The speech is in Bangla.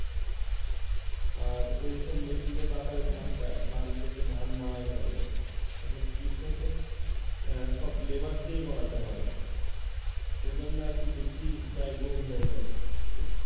আর ওইসব মেশিন দিয়ে তাড়াতাড়ি ধান কেটে ধান মাড়াই করা যেত এখন কৃষকের সব labour দিয়েই করাতে হয়, এজন্য আর কি বেশি ব্যয়বহুল হয়ে যায়।